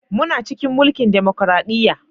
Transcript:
Muna cikin mulkin dimokradiyya